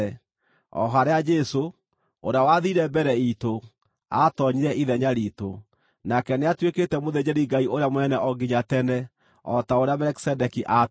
o harĩa Jesũ, ũrĩa wathiire mbere iitũ, aatoonyire ithenya riitũ. Nake nĩatuĩkĩte mũthĩnjĩri-Ngai ũrĩa mũnene o nginya tene, o ta ũrĩa Melikisedeki aatariĩ.